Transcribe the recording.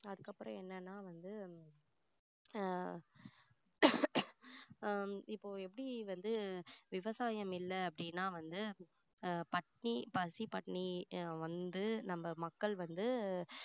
அதுக்கப்புறம் என்னன்னா வந்து ஆஹ் ஆஹ் இப்போ எப்படி வந்து விவசாயம் இல்ல அப்படின்னா வந்து அஹ் பட்டினி பசி பட்டினி வந்து நம்ம மக்கள் வந்து